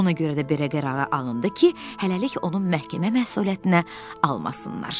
Ona görə də belə qərara alındı ki, hələlik onun məhkəmə məsuliyyətinə almasınlar.